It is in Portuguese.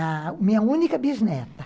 A minha única bisneta.